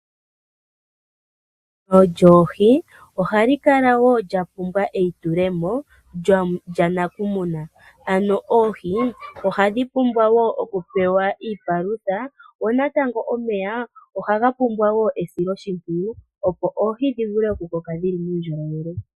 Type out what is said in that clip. Emuno lyoohi ohali kala woo lya pumbwa wo eyitulomo lya nakumuna. Ano oohi ohadhi pumbwa wo oku pewa iipalutha, go natango omeya ohaga pumbwa woo esiloshimpwiyu opo oohi dhi vule oku okukoka dhili muundjolowele.